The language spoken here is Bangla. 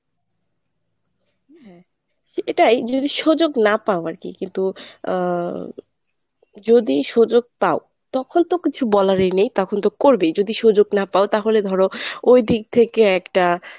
হ্যাঁ, এটাই যদি সুযোগ না পাওয় আরকি কিন্তু আ যদি সুযোগ পাও তখন তো কিছু বলারই নেই তখন তো করবেই যদি সুযোগ না পাও তাহলে ধরো ওই দিক থেকে একটা